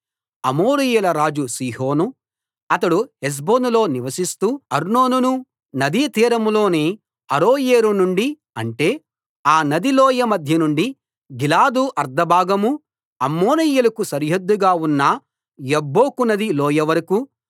అమోరీయుల రాజు సీహోను అతడు హెష్బోనులో నివసిస్తూ అర్నోను నదీ తీరంలోని అరోయేరు నుండి అంటే ఆ నదీ లోయ మధ్య నుండి గిలాదు అర్థభాగమూ అమ్మోనీయులకు సరిహద్దుగా ఉన్న యబ్బోకు నది లోయ వరకూ